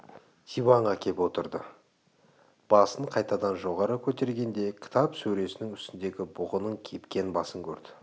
диванға кеп отырды басын қайтадан жоғары көтергенде кітап сөресінің үстіндегі бұғының кепкен басын көрді